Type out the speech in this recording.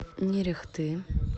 нерехты